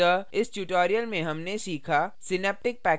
synaptic package manager का उपयोग करके jdk संस्थापित करना